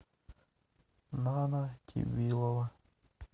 нана тибилова